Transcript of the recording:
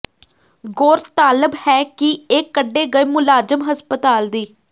ਗੌਰਤਾਲਬ ਹੈ ਕਿ ਇਹ ਕੱਢੇ ਗਏ ਮੁਲਾਜ਼ਮ ਹਸਪਤਾਲ ਦੀ